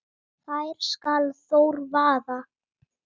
þær skal Þór vaða